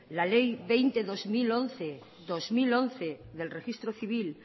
la ley veinte barra dos mil once dos mil once del registro civil